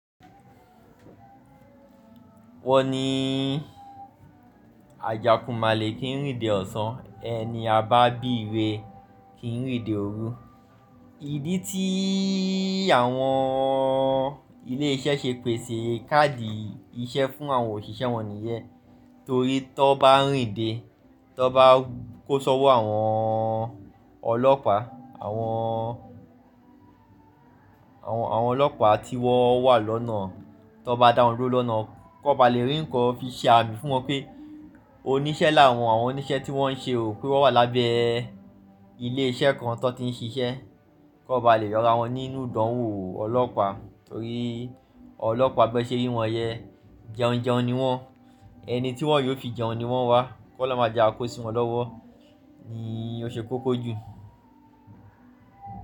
Wọ́n ní ajàkumàlè kí n rìn dé ọ̀sán, ẹni a bá bí ìré kì í rìn dé òru. Ìdí tí àwọn ilé iṣẹ́ ṣe pèsè káàdì iṣẹ́ fún àwọn òṣìṣẹ́ wọn nìyẹ́n torí tó bá rìn de, tó bá kó ṣọ́wọ́ àwọn ọlọ́pàá, awon àwọn ọlọ́pàá tí wọ́n wà lọ́nà, tó bá dá wọn duró lọ́nà, kó ba lè rí ǹkan fi ṣe àmì fún wọn pé oníṣẹ́ làwọn, àwọn oníṣẹ́ tí wọ́ ń ṣe ò, pé wọ́n wà lábẹ́ ilé iṣẹ́ kan tí wọ́n ti ń ṣiṣẹ́. Kó ba lè yọra wọn nínú ìdánwò ọlọ́pàá torí ọlọ́pàá bẹ́ṣẹ́ rí wọn yẹ, jẹun jẹun ni wọ́n. Ẹni tí wọ́n yóò fi jẹun ni wọ́n wá, kó lọ máa jẹ àkósí wọn lọ́wọ́ ni ó ṣe kókó jù.